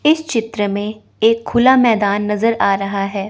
इस चित्र में एक खुला मैदान नजर आ रहा है।